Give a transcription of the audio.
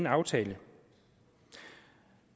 aftalen